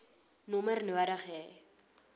nommer nodig hê